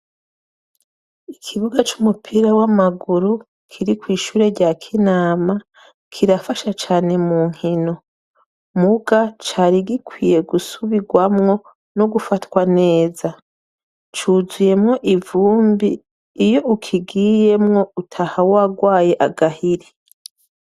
Ikibuga cumupira wamaguru kirikw'ishure rya Kinama, kirafasha cane munkino, muga carigikwiye gusubirwamwo, cuzuyemwo ivumbi iyo ukigiyemwo utaha warwaye agahinda.